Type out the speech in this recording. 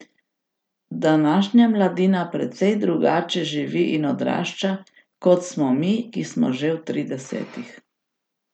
Današnja mladina precej drugače živi in odrašča, kot smo mi, ki smo že v tridesetih.